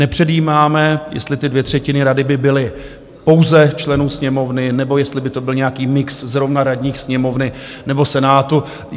Nepředjímáme, jestli ty dvě třetiny rady by byly pouze členů Sněmovny, nebo jestli by to byl nějaký mix zrovna radních Sněmovny nebo Senátu.